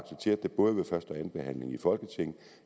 anden behandling i folketinget